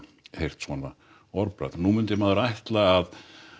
heyrt svona orðbragð nú myndi maður ætla að